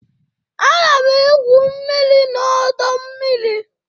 Ana m egwu mmiri na ọdọ mmiri.